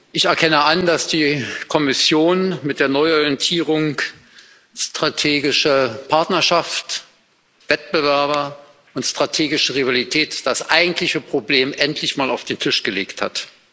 Ich erkenne an, dass die Kommission mit der Neuorientierung strategische Partnerschaft, Wettbewerber und strategische Rivalität das eigentliche Problem endlich mal auf den Tisch gelegt hat.